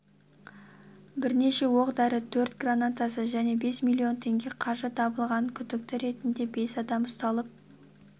бірнеше оқ-дәрі төрт гранатасы және бес миллион теңге қаржы табылған күдікті ретінде бес адам ұсталып